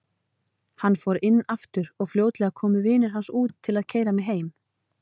Hann fór inn aftur og fljótlega komu vinir hans út til að keyra mig heim.